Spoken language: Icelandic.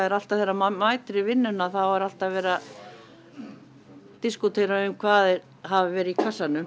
alltaf þegar maður mætir í vinnuna þá er alltaf verið að diskútera hvað hafi verið í kassanum